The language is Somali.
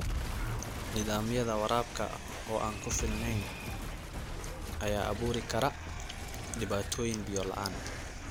Nidaamyada waraabka oo aan ku filneyn ayaa abuuri kara dhibaatooyin biyo-la'aan.